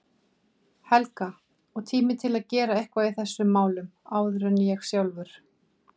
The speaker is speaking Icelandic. Helga, og tími til að gera eitthvað í þessum málum áður en sjálfur